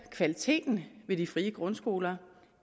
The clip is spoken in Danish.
kvaliteten ved de frie grundskoler